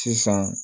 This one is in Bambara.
Sisan